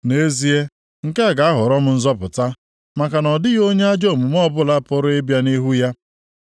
Nʼezie, nke a ga-aghọrọ m nzọpụta maka na ọ dịghị onye ajọ omume ọbụla pụrụ ịbịa nʼihu ya.